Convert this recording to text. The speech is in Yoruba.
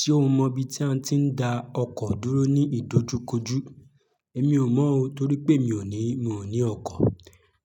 Ṣé o mọ ibi tí a ti ń dá ọkọ̀ dúró ní ìdojúkojú? Èmi ò mọ̀ o torí pé mi ò ní, mi ò ní ọkọ̀.